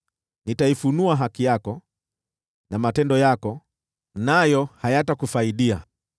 Nitaifunua haki yako na matendo yako, nayo hayatakufaidi.